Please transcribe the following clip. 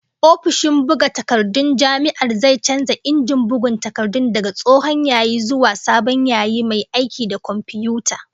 Ofishin buga takardun jami'ar zai canza injin bugun takardun daga tsohon yayi zuwa sabon yayi mai aiki da komfiyuta